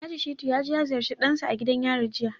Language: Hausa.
Alhaji Shittu ya je ya ziyarci dansa a gidan yari jiya